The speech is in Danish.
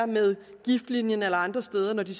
med giftlinjen eller andre steder når de